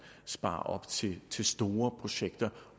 sparer op til til store projekter